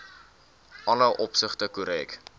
alle opsigte korrek